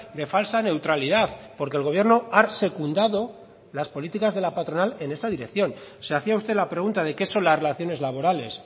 de falsa neutralidad porque el gobierno ha secundado las políticas de la patronal en esa dirección se hacía usted la pregunta de qué son las relaciones laborales